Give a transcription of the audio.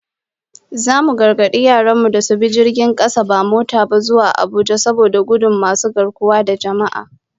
Zamu gargadi yaran mu da su bi jirgin kasa ba mota ba, zuwa Abuja, saboda gudun masu garkuwa da jama'a